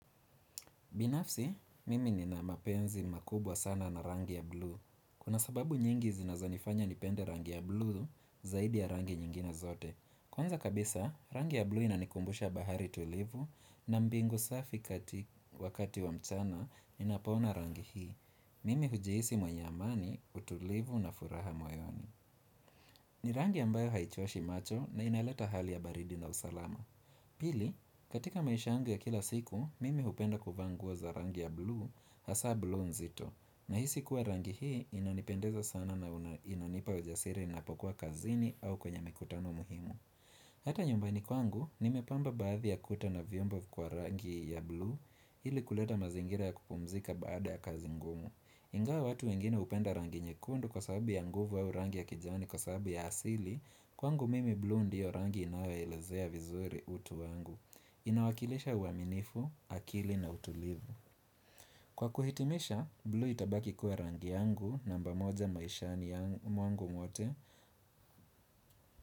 Binafsi, mimi nina mapenzi makubwa sana na rangi ya blu. Kuna sababu nyingi zinazonifanya nipende rangi ya blu zaidi ya rangi nyingine zote. Kwanza kabisa, rangi ya blu inanikumbusha bahari tulivu na mbingu safi kati wakati wa mchana ninapoona rangi hii. Mimi hujiisi mwenye amani, utulivu na furaha moyoni. Ni rangi ambayo haichoshi macho na inaleta hali ya baridi na usalama. Pili, katika maisha yangu ya kila siku, mimi hupenda kuvaa nguo za rangi ya blue, hasa blue nzito, na hisi kuwa rangi hii inanipendeza sana na una inanipa ujasiri napokua kazini au kwenye mikutano muhimu. Hata nyumbani kwangu, nimepamba baadhi ya kuta na viombo kwa rangi ya blue, ili kuleta mazingira ya kupumzika baada ya kazi ngumu. Ingawa watu wengine upenda rangi nyekundu kwa sababu ya nguvu au rangi ya kijani kwa sababu ya asili, kwangu mimi blue ndiyo rangi inayoelezea vizuri utu wangu. Inawakilisha uaminifu, akili na utulivu. Kwa kuhitimisha, blue itabaki kuwa rangi yangu namba moja maishani ya mwangu wote.